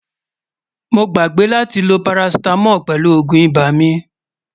mó gbàgbé látí ló paracetamol pèlú ògún ibà mí